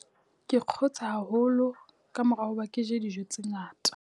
Kw kgotse haholo ka mora hoba ke je dijo tse ngata.